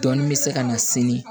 Dɔɔnin bɛ se ka na sini